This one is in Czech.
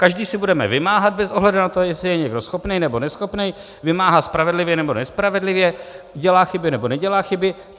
Každý si budeme vymáhat bez ohledu na to, jestli je někdo schopný, nebo neschopný, vymáhá spravedlivě, nebo nespravedlivě, dělá chyby, nebo nedělá chyby.